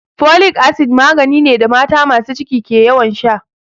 Folic acid magani ne da mata masu ciki ke ƴawan sha.